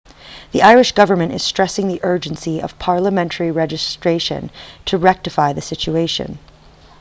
the irish government is stressing the urgency of parliamentary legislation to rectify the situation